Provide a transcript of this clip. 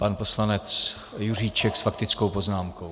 Pan poslanec Juříček s faktickou poznámkou.